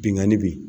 Bingani bɛ yen